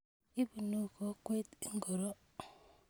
Ipunu kokwet ingoro?